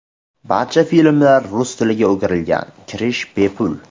Barcha filmlar rus tiliga o‘girilgan, kirish bepul.